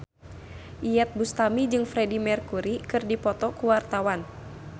Iyeth Bustami jeung Freedie Mercury keur dipoto ku wartawan